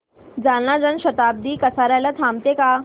जालना जन शताब्दी कसार्याला थांबते का